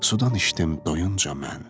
Sudan içdim doyunca mən.